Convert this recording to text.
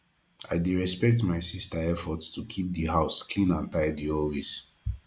i dey respect my sister effort to keep the house clean and tidy always